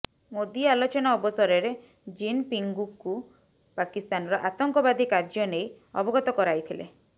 ମୋଦି ଆଲୋଚନା ଅବସରରେ ଜିନପିଙ୍ଗଙ୍କୁ ପାକିସ୍ତାନର ଆତଙ୍କବାଦୀ କାର୍ଯ୍ୟ ନେଇ ଅବଗତ କରାଇଥିଲେ